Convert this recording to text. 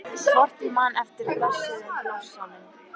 Hvort ég man eftir blessuðum blossanum?